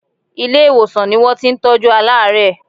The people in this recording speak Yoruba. Ilé-ìwòsàn ni wọ́n ti ń tọjú aláàárẹ̀.